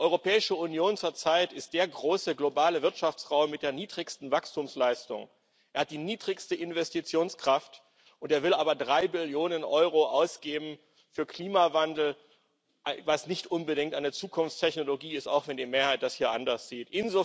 Die Europäische Union zurzeit ist der große globale Wirtschaftsraum mit der niedrigsten Wachstumsleistung, sie hat die niedrigste Investitionskraft, will aber drei Billionen Euro für Klimawandel ausgeben, was nicht unbedingt eine Zukunftstechnologie ist, auch wenn die Mehrheit das hier anders sieht.